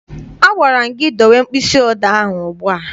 A gwara m gị dowe mkpịsị odee ahụ ugbu a!